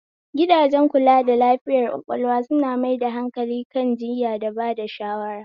Gidajen kula da lafiyar ƙwaƙwalwa suna mai da hankali kan jiyya da bada shawara